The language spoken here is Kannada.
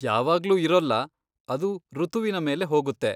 ಯಾವಾಗ್ಲೂ ಇರೊಲ್ಲ, ಅದು ಋತುವಿನ ಮೇಲೆ ಹೋಗುತ್ತೆ.